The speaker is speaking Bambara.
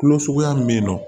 Kulo suguya min bɛ yen nɔ